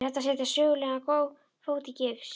Er hægt að setja sögulegan fót í gifs?